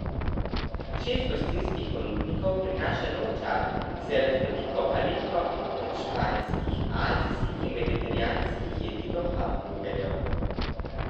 Šest gostinskih ponudnikov prinaša nov čar z raznoliko paleto od španskih, azijskih in vegetarijanskih jedi do hamburgerjev.